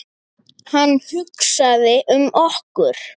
Hann hugsaði um okkur.